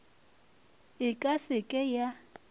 e ka se ke ya